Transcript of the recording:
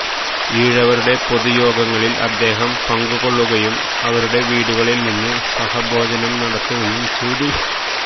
ഈഴവരുട പൊതുയോഗങ്ങളിൽ അദ്ദേഹം പങ്കു കൊള്ളുകയും അവരുടെ വീടുകളിൽ നിന്ന് സഹഭോജനം നടത്തുകയും ചെയ്തു